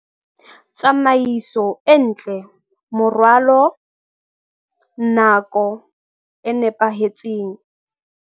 Tsamaiso e ntle, moralo, nako e nepahetseng